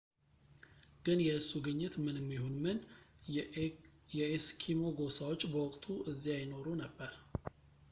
ግን የእሱ ግኝት ምንም ይሁን ምን የኤስኪሞ ጎሳዎች በወቅቱ እዚያ ይኖሩ ነበር